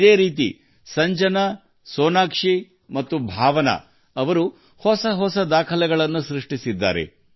ಅದೇ ರೀತಿ ಸಂಜನಾ ಸೋನಾಕ್ಷಿ ಮತ್ತು ಭಾವನಾ ಕೂಡ ವಿವಿಧ ದಾಖಲೆಗಳನ್ನು ಮಾಡಿದ್ದಾರೆ